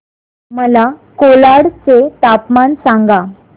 मला कोलाड चे तापमान सांगा